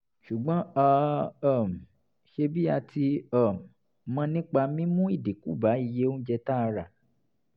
ṣùgbọ́n a um ṣe bí a ti um mọ nípa mímú ìdínkù bá iye oúnjẹ tá a rà